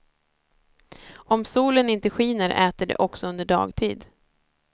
Om solen inte skiner äter de också under dagtid.